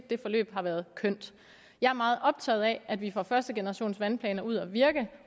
det forløb har været kønt jeg er meget optaget af at vi får førstegenerationsvandplanerne ud at virke